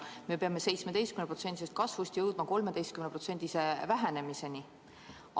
Me peame 17%-sest kasvust jõudma 13%-se vähenemiseni.